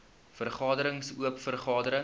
vergaderings oop vergaderings